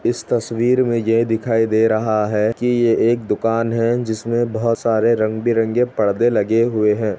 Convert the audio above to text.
इस तस्वीर में ये दिखाई दे रहा है कि यह एक दुकान है जिसमे बहुत सारे रंग-बिरंगे परदे लगे हुए है।